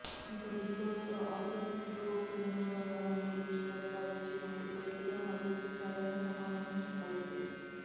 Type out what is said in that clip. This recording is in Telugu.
ఇక బిగ్ బాస్ తో అఖిల్ తో ప్రేమ వ్యవహారం గురించి ప్రస్థావించినప్పుడు గట్టిగా నవ్వేసి సరైన సమాధానం చెప్పలేదు